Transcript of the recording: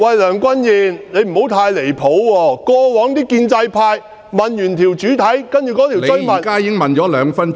梁君彥，你不要太離譜，過往建制派議員在主體質詢後提出補充質詢......